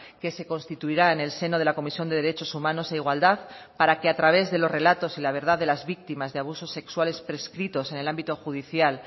que se constituirá en el seno de la comisión de derechos humanos e igualdad para que a través de los relatos y la verdad de las víctimas de abusos sexuales prescritos en el ámbito judicial